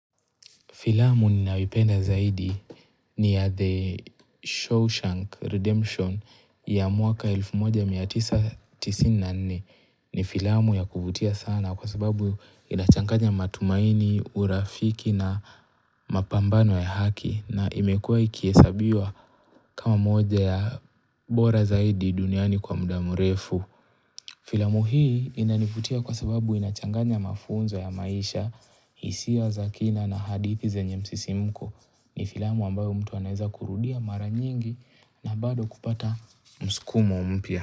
Filamu ninayoipenda zaidi ni ya The Shaw shank Redemption ya mwaka 1994 ni filamu ya kuvutia sana kwa sababu inachanganya matumaini, urafiki na mapambano ya haki na imekuwa ikihesabiwa kama moja ya bora zaidi duniani kwa muda mrefu. Filamu hii inanivutia kwa sababu inachanganya mafunzo ya maisha hisia za kina na hadithi zenye msisimko ni filamu ambayo mtu anaweza kurudia mara nyingi na bado kupata msukumo mpya.